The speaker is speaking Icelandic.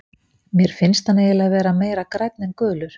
Mér finnst hann eiginlega vera meira grænn en gulur.